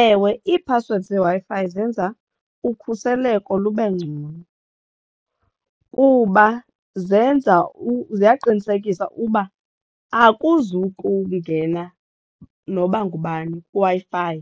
Ewe ii-passwords zeWi-Fi zenza ukhuseleko lube ngcono kuba zenza ziyaqinisekisa uba akuzukungena noba ngubani kwiWi-Fi